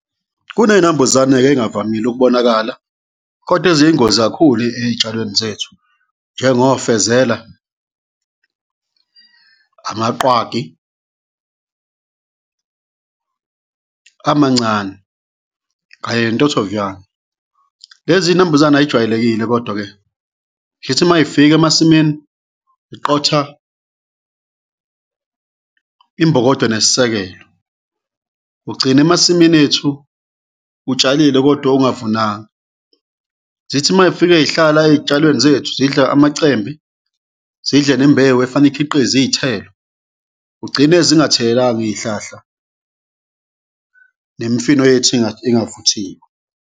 Kuney'nambuzane-ke ey'ngavamile ukubonakala kodwa eziyingozi kakhulu ey'tshalweni zethu njengofezela, amaqwagi amancane kanye nentothoviyane. Lezi zinambuzane ay'jwayelekile kodwa-ke zithi may'fika emasimini, ziqotha imbokodo nesisekelo, kugcina emasimini ethu utshalile kodwa ungavunanga. Zithi may'fike zihlala ey'tshalweni zethu zidla amacembe, zidle nembewu efanele ikhiqize iy'thelo, kugcine zingathelekanga iy'hlahla nemifino yethu ingavuthiwe.